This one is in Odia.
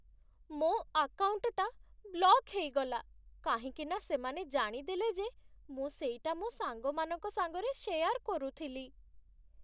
ମୋ ଆକାଉଣ୍ଟଟା ବ୍ଲକ୍ ହେଇଗଲା କାହିଁକିନା ସେମାନେ ଜାଣିଦେଲେ ଯେ ମୁଁ ସେଇଟା ମୋ ସାଙ୍ଗମାନଙ୍କ ସାଙ୍ଗରେ ଶେୟାର୍ କରୁଥିଲି ।